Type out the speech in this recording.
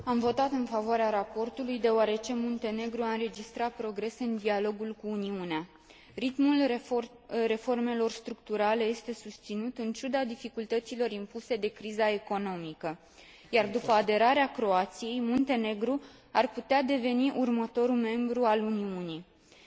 Am votat în favoarea raportului deoarece Muntenegru a înregistrat progrese în dialogul cu Uniunea Europeană. Ritmul reformelor structurale este susținut, în ciuda dificultăților impuse de criza economică, iar după aderarea Croației, Muntenegru ar putea deveni următorul membru al Uniunii Europene.